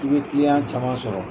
Tun bɛ caman sɔrɔ.